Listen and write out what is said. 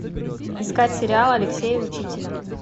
искать сериал алексея учителя